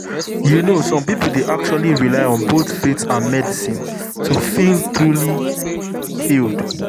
you know some people dey actually rely on both faith and medicine to feel truly healed.